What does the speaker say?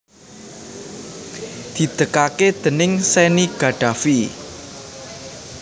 didegaké déning Sanny Gaddafi